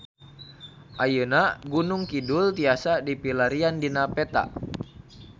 Ayeuna Gunung Kidul tiasa dipilarian dina peta